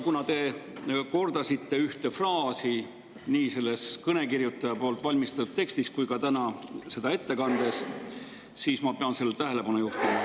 Kuna te kordasite ühte fraasi nii selles kõnekirjutaja valmistatud tekstis kui ka täna seda ette kandes, siis ma pean sellele tähelepanu juhtima.